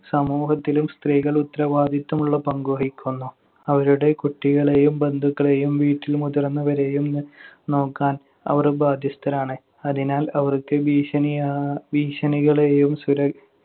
സമൂഹത്തിലും സ്ത്രീകൾ ഉത്തരവാദിത്തമുള്ള പങ്ക് വഹിക്കുന്നു. അവരുടെ കുട്ടികളെയും ബന്ധുക്കളെയും വീട്ടിലെ മുതിർന്നവരെയും നോക്കാൻ അവർ ബാധ്യസ്ഥരാണ്. അതിനാൽ അവർക്ക് ഭീഷണിയാ~ ഭീഷണികളെയും സുര~